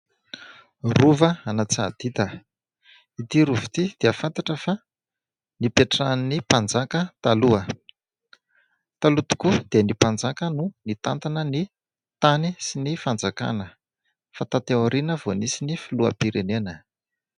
Rovan'Antsahadita. Ity rova ity dia fantatra fa nipetrahan'ny mpanjaka taloha. Taloha tokoa dia ny mpanjaka no nitantana ny tany sy ny fanjakana, fa taty aoriana vao nisy ny filoham-pirenena.